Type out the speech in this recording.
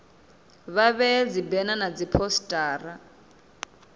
vha vhee dzibena na dziphosita